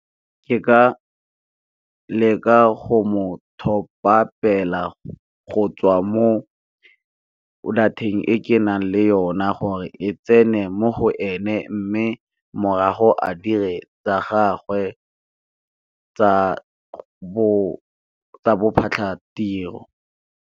Ke ka leka go mo top-apela go tswa mo data-eng e ke nang le yona gore e tsene mo go ene mme morago a dire tsa gagwe tsa bophatlhatiro.